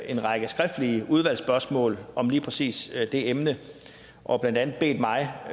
en række skriftlige udvalgsspørgsmål om lige præcis det emne og blandt andet bedt mig